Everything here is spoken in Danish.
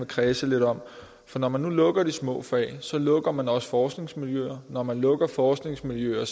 kredse lidt om når man nu lukker de små fag lukker man også forskningsmiljøer når man lukker forskningsmiljøer